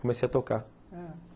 Comecei a tocar, ãh